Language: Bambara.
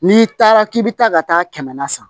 N'i taara k'i bɛ taa ka taa kɛmɛ na san